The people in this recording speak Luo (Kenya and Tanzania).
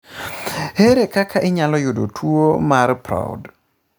Ere kaka inyalo iyudo tuwo mar Proud?